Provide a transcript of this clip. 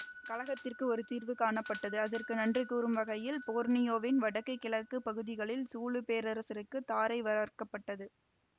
கலகத்திற்கு ஒரு தீர்வு காணப்பட்டது அதற்கு நன்றி கூறும் வகையில் போர்னியோவின் வடக்கு கிழக்கு பகுதிகள் சூலு பேரரசுக்குத் தாரை வளர்க்க பட்டது